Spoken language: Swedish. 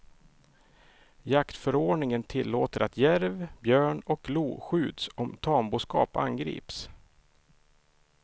Jaktförordningen tillåter att järv, björn och lo skjuts om tamboskap angrips.